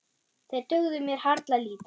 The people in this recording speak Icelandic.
Þeir dugðu mér harla lítið.